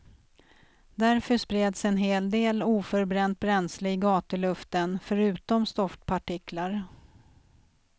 Därför spreds en hel del oförbränt bränsle i gatuluften, förutom stoftpartiklar.